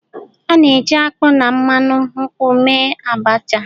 A na-eji akpu na mmanụ nkwu mee Abasha.